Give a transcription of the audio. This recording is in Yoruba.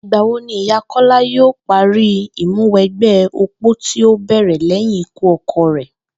Ìgbà wo ni ìyá Kó̩lá yóò parí ìmúwe̩gbé̩ opó tí ó bè̩rè̩ lé̩yìn ikú o̩ko̩ rè̩?